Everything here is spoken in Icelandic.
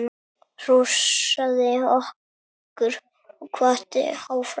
Hrósaði okkur og hvatti áfram.